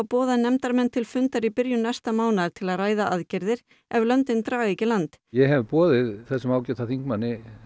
boðað nefndarmenn til fundar í byrjun næsta mánaðar til að ræða aðgerðir ef löndin draga ekki í land ég hef boðið þessum ágæta þingmanni